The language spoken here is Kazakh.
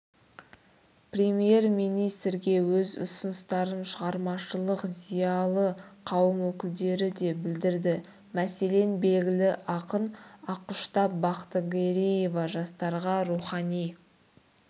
премьер-министрге өз ұсыныстарын шығармашылық зиялы қауым өкілдері де білдірді мәселен белгілі ақын ақұштап бақтыгереева жастарға рухани